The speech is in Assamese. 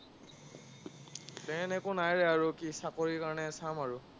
প্লেন একো নাই ৰে কি, চাকৰিৰ কাৰণে চাম আৰু।